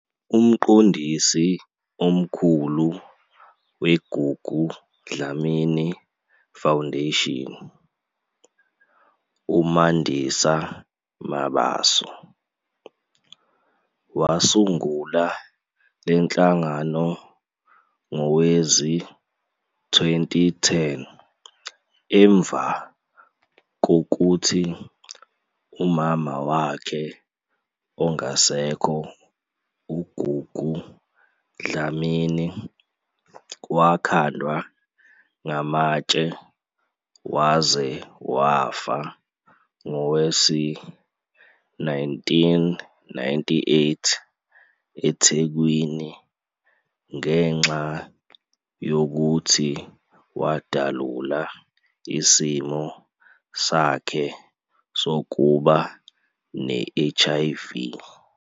UMqondisi Omkhulu we-Gugu Dlamini Foundation, uMandisa Mabaso, wasungula le nhlangano ngowezi-2010 emva kokuthi umama wakhe - ongasekho uGugu Dlamini - wakhandwa ngamatshe waze wafa ngowe-1998 eThekwini ngenxa yokuthi wadalula isimo sakhe sokuba ne-HIV.